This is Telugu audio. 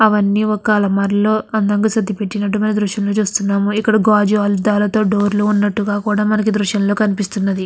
అవన్నీఒక అల్మిర లో అందంగా సరదీపట్టినట్టు మనం దృశ్యం లో చూస్తున్నాము. ఇక్కడ గాజు అద్దాలతో డోర్ లు ఉన్నట్టుగా కూడా మనకి దృశ్యం లో కనిపిస్తున్నది.